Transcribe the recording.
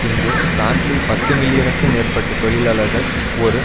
இங்கு பிரான்சில் பத்து மில்லியனுக்கும் மேற்பட்ட தொழிலாளர்கள் ஒரு